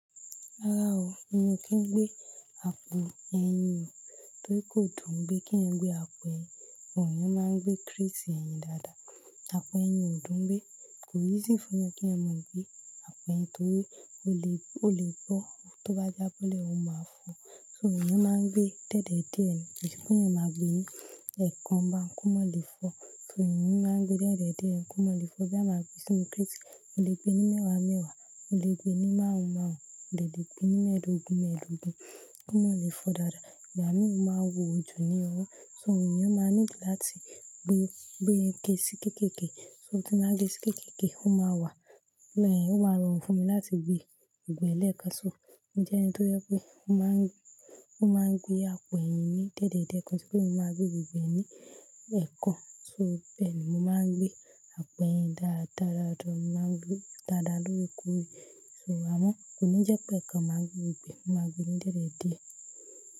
Rárá o, èmi kí n gbé àpò ẹyin o, torí kò dùn ún gbé kí ẹ gbé àpò ẹyin, wọ̀nyí máa ń gbé kríìsì ẹyin dáadáa. Àpò ẹyin ò dùn ún gbé, kò ì sì fún ẹ kí ẹ mọ̀ gbé àpò ẹyin torí ó lè, ó lè bọ́, tó bá jábọ́lẹ̀, ó máa fọ́. So èèyàn máa ń gbé dié dié ni, kí se pe eeyan má gbé ní ẹ̀kan, kó máa le fọ. So èèyàn máa ń gbé diédié ni kó máa le fọ be a máa gbé sínú kratii. O le gbé ní mẹ́wàá mẹ́wàá, o le gbé ní márùn-ún márùn-ún, o le gbé ní mẹ́ẹ̀dógún mẹ́ẹ̀dógún kó má le fọ dáadáa. Ìgbà mìíràn ó máa wò ojú ní ọwọ́, so èèyàn máa ní láti gbé, gbé sí kéékèèké. So tí a bá gbé sí kéékèèké, ó máa wà, ọmọ-ẹ̀yìn ó máa rọrùn fún mi láti gbé gbogbo lẹẹ́kán. So mo jẹ́ ẹni tó jẹ pé ó máa ń gbé, ó máa ń gbé àpò ẹyin ní dèédèé, ko n se pé mo máa gbé gbogbo ní ẹẹ́kan. So bẹ́ẹ̀ ni mo máa ń gbé àpò ẹyin dáradára, mo máa ń gbé dáadáa lórí ikùn. So àmọ́ kò ní jẹ́ pé ẹ̀kan máa gbé gbogbo e, mo máa gbé ní diédié.